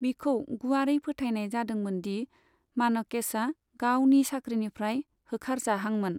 बिखौ गुवारै फोथायनाय जादोंमोन दि मानेकश'आ गावनि साख्रिनिफ्राय होखार जाहांमोन।